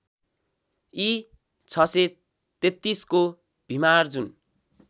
इ ६३३ को भिमार्जुन